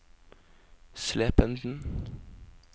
Slependen